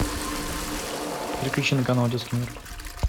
переключи на канал детский мир